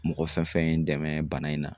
Mɔgɔ fɛn fɛn ye n dɛmɛ bana in na.